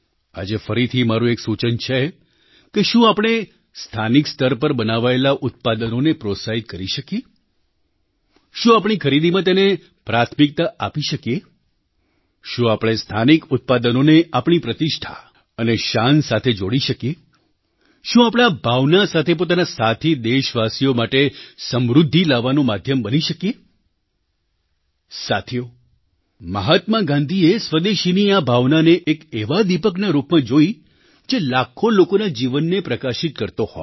આજે ફરીથી મારું એક સૂચન છે કે શું આપણે સ્થાનિક સ્તર પર બનાવાયેલાં ઉત્પાદનોને પ્રોત્સાહિત કરી શકીએ શું આપણી ખરીદીમાં તેને પ્રાથમિકતા આપી શકીએ શું આપણે સ્થાનિક ઉત્પાદનોને આપણી પ્રતિષ્ઠા અને શાન સાથે જોડી શકીએ શું આપણે આ ભાવના સાથે પોતાના સાથી દેશવાસીઓ માટે સમૃદ્ધિ લાવવાનું માધ્યમ બની શકીએ સાથીઓ મહાત્મા ગાંધીએ સ્વદેશીની આ ભાવનાને એક એવા દીપકના રૂપમાં જોઈ જે લાખો લોકોના જીવનને પ્રકાશિત કરતો હોય